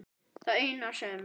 Það eina sem